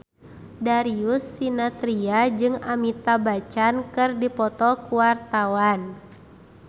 Darius Sinathrya jeung Amitabh Bachchan keur dipoto ku wartawan